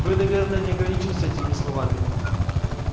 вы наверное не ограничились этими словами